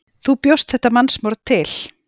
Þú bjóst þetta mannsmorð til.